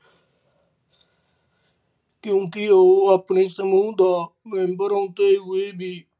ਕਿਉਂਕਿ ਉਹ ਆਪਣੇ ਸਮੂਹ ਦਾ member ਹੁੰਦੇ ਹੋਏ ਵੀ